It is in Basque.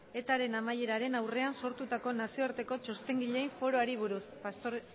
etaren amaieraren aurrean sortutako nazioarteko txostengileen foroei buruz